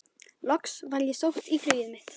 Loks var ég sótt í flugið mitt.